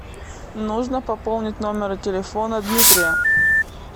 нужно пополнить номер телефона дмитрия